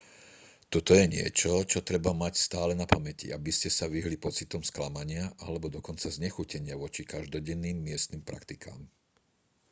toto je niečo čo treba mať stále na pamäti aby ste sa vyhli pocitom sklamania alebo dokonca znechutenia voči každodenným miestnym praktikám